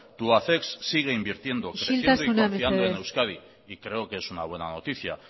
tubacex sigue invirtiendo isiltasuna mesedez y sigue confiando en euskadi y creo que es una buena noticia